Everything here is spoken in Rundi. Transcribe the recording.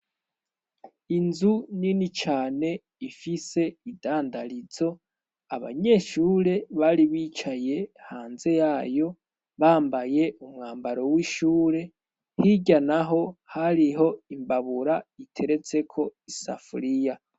Inzu nini cane ifise idandarizo. Abanyeshure bari bicaye hanze yayo, bambaye umwambaro w'ishure. Hirya n'aho, hariho imbabura iteretseko isafuriya.